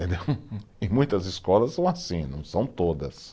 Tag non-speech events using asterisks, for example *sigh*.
*laughs* Em muitas escolas são assim, não são todas.